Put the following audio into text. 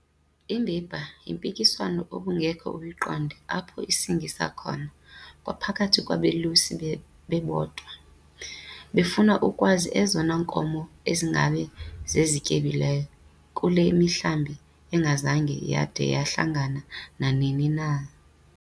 Ibiba yimpikiswano obungeke uyiqonde apho isingisa khona kwaphakathi kwabalusi bebodwa, befuna ukwazi ezona nkomo ezingaba zezityebileyo kule mihlambi engazange yada yahlangana nanini na.